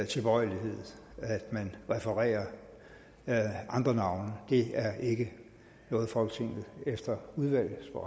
tilbøjelighed at man refererer andre navne og det er ikke noget folketinget efter udvalget for